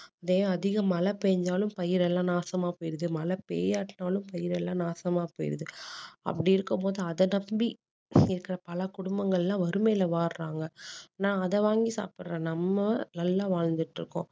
இதே அதிக மழை பெயிஞ்சாலும் பயிரெல்லாம் நாசமா போயிருது மழை பெய்யாட்டினாலும் பயிர் எல்லாம் நாசமா போயிருது அப்படி இருக்கும் போது அதை நம்பி இருக்குற பல குடும்பங்கள் எல்லாம் வறுமையில வாடுறாங்க ஆனால் அதை வாங்கி சாப்புடுற நம்ம நல்லா வாழ்ந்துட்டு இருக்கோம்